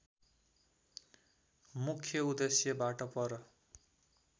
मुख्य उद्देश्यबाट पर